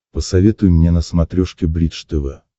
посоветуй мне на смотрешке бридж тв